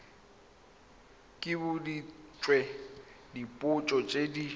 ke boditswe dipotso tse di